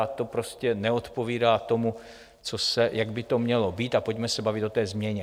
A to prostě neodpovídá tomu, jak by to mělo být, a pojďme se bavit o té změně.